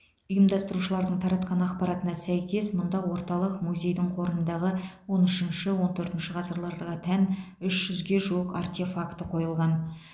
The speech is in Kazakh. ұйымдастырушылардың таратқан ақпаратына сәйкес мұнда оталық музейдің қорындағы он үшінші он төртінші ғасырларға тән үш жүзге жуық артефакті қойылған